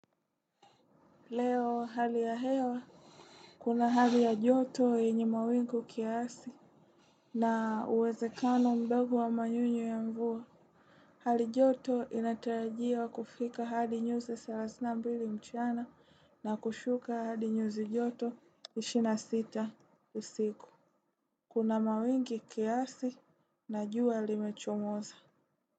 Leo hali ya hewa. Kuna hali ya joto yenye mawingu kiasi. Na uwezekano mdogo wa manyunyu ya mvua. Hali joto inatarajiwa kufika hadi nyuzi thelathini na mbili mchana na kushuka hadi nyuzi joto ishirini na sita usiku. Kuna mawingi kiasi na jua limechomoza.